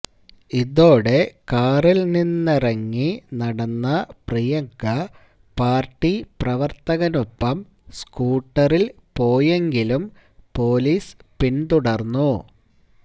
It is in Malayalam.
ഇതോടെ കാറില് നിന്നിറങ്ങി നടന്ന പ്രിയങ്ക പാര്ട്ടി പ്രവര്ത്തകനൊപ്പം സ്കൂട്ടറില് പോയെങ്കിലും പൊലീസ് പിന്തുടര്ന്നു